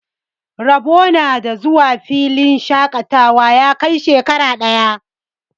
Rabo na da zuwa filin shaƙatawa ya kai shekara ɗaya.